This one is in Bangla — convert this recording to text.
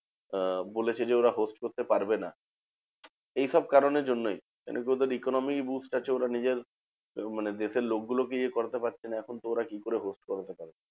আহ বলেছে যে, ওরা host করতে পারবে না। এইসব কারণের জন্যেই, মানে কি? ওদের economy boost আছে ওরা নিজের মানে দেশের লোকগুলোকে ইয়ে করাতে পারছে না এখন কি করে host করবে?